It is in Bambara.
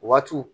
Waatiw